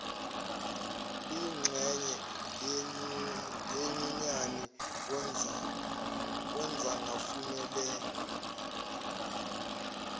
liyingxenye yenyunyani kungafanela